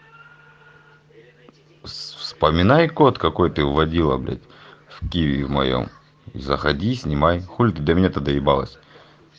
вспоминай код какой ты вводила блять в киви в моем заходи и снимай хули ты до меня-то доебалась